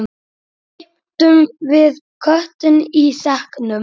Keyptum við köttinn í sekknum?